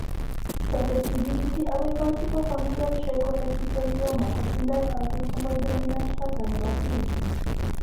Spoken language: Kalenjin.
Susceptibility agoi multiple familial trichoepithelioma kotindo autosomal dominant pattern nebo kiinti.